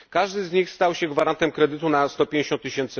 Każdy z nich stał się gwarantem kredytu na 150 tys.